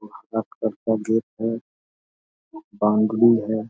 है बाउंड्री है।